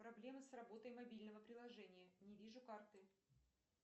проблемы с работой мобильного приложения не вижу карты